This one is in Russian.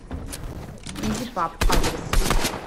изи паб адрес